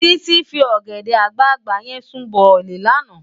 Titi fi ògèdè àgbágbá yèn sún bòlí làná